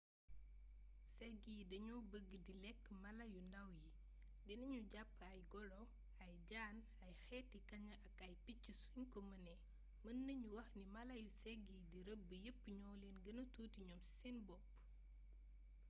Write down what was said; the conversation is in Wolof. ségg yi dañoo bëgg di lekk mala yu ndàw yi dina ñu jàpp ay golo ay jaan ay xeeti kaña ak ay picc suñ ko mënee mën nañu wax ni mala yu ségg yi di rëbb yépp ñoo leen gëna tuuti ñoom ci seen bopp